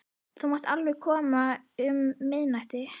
Þú mátt alveg koma um miðnættið.